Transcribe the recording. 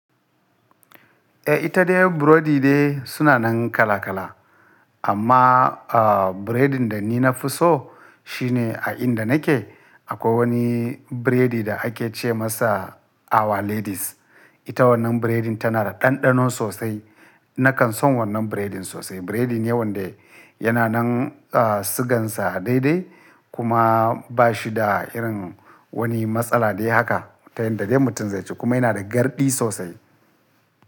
Eh ita dai burodi dai suna nan kala kala. Amma, ah, biredin da ni na fi so shi ne a inda nake akwai wani biredi da ake ce masa awa ladies. Ita wannan biredin tana da ɗanɗano sosai. Nakan son wannan biredin sosai. Biredi ne wanda yana nan, ah, sigansa daidai kuma ba shi da irin wani matsala. Dai haka tayan da dai mutum zai ci kuma yana da garɗi sosai.